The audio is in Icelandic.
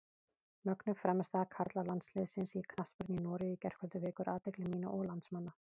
Mögnuð frammistaða karlalandsliðsins í knattspyrnu í Noregi í gærkvöldi vekur athygli mína og landsmanna.